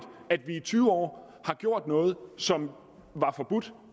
at vi i tyve år har gjort noget som var forbudt